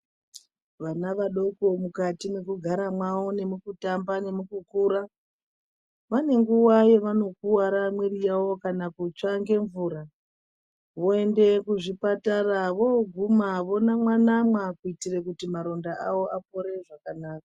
Vana vadoko mukati mwekugara mwawo, nemukutamba nemukukura vane nguwa yavanokuwara mwiri yavo kana kutsva ngemvura voende kuchipatara voonamwa namwa kuti marondawo apore.